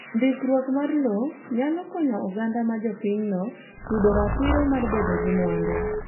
Ndikruor mar lowo nyalo konyo oganda ma jopinyno yudo ratiro mar bedo gi mwandu